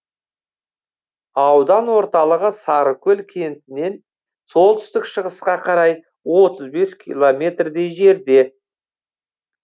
аудан орталығы сарыкөл кентінен солтүстік шығысқа қарай отыз бес километрдей жерде